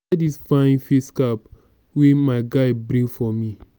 e get dis fine face cap wey my guy bring for me